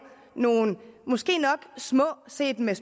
nogle måske nok små set med